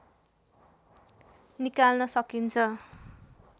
निकाल्न सकिन्छ